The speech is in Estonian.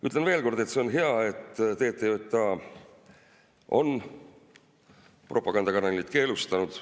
Ütlen veel kord, et see on hea, et TTJA on propagandakanalid keelustanud.